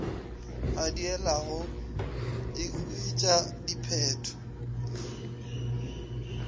a diilago e huetša diphetho